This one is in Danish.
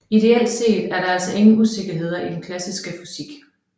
Ideelt set er der altså ingen usikkerheder i den klassiske fysik